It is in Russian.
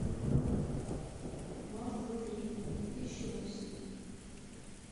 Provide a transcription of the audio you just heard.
мазда три две тысячи восемь